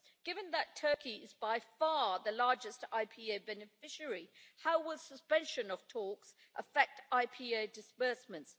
Given that Turkey is by far the largest IPA beneficiary, how will the suspension of talks affect IPA disbursements?